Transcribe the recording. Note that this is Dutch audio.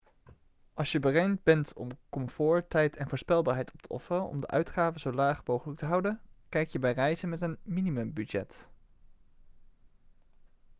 als je bereid bent om comfort tijd en voorspelbaarheid op te offeren om de uitgaven zo laag mogelijk te houden kijk je bij reizen met een minimumbudget